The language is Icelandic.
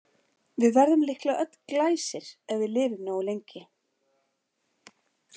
Við verðum líklega öll Glæsir ef við lifum nógu lengi.